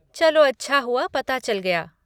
चलो अच्छा हुआ पता चल गया।